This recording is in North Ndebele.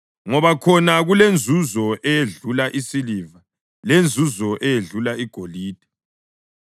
ngoba khona kulenzuzo eyedlula isiliva lenzuzo eyedlula igolide.